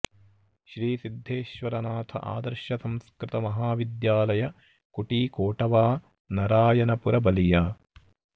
Shri Siddheshwar Nath Adarsh Sanskrit Mahavidyalaya Kuti Kotwa Narayanpur Ballia